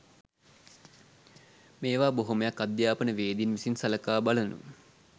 මේවා බොහොමයක් අධ්‍යාපනවේදීන් විසින් සලකා බලනු